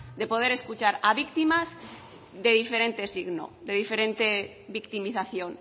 de poder escuchar a víctimas de diferente signo de diferente victimización